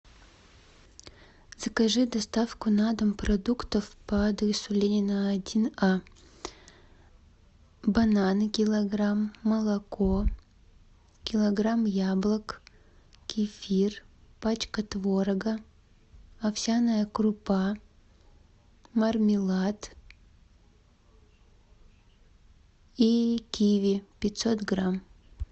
закажи доставку на дом продуктов по адресу ленина один а бананы килограмм молоко килограмм яблок кефир пачка творога овсяная крупа мармелад и киви пятьсот грамм